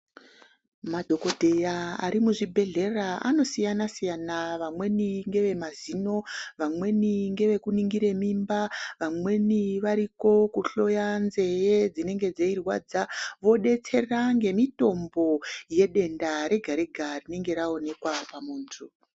Madhokodheya ari muzvibhehlera anosiayana siyana. Vamweni ngevemaziso, vamweni ngevekuningire mimba, vamweni variko kuhloya nzeve dzinenge dzirwadza vodetsera nemitombo yedenda rega rega rinonga rawonekwa pamuntu.